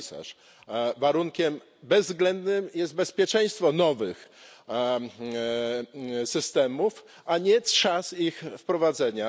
komisarz, warunkiem bezwzględnym jest bezpieczeństwo nowych systemów, a nie czas ich wprowadzenia.